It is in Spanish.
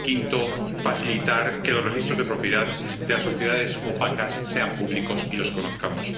Y, quinto, facilitar que los registros de propiedad de las sociedades opacas sean públicos y los conozcamos.